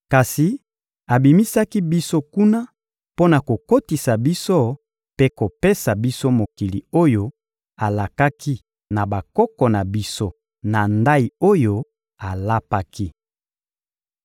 Kasi abimisaki biso kuna mpo na kokotisa biso mpe kopesa biso mokili oyo alakaki na bakoko na biso na ndayi oyo alapaki.